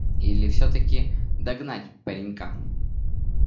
или всё-таки догнать паренька